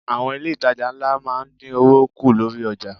Àwọn ilé itàjà ńlá máa ń dín owó kù lórí ọjà.